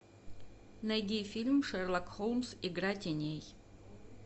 найди фильм шерлок холмс игра теней